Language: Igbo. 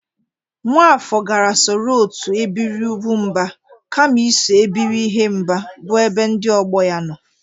Nwafọr gara soro otu ebiri ụgwụmba kama iso ebiri ihemba bụ ebe ndị ọgbọ ya nọ